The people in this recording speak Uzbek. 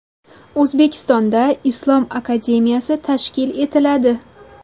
O‘zbekistonda Islom akademiyasi tashkil etiladi.